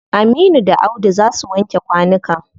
Aminu da Audu za su wanke kwanukan.